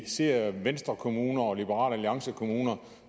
ser venstrekommuner og liberal alliance kommuner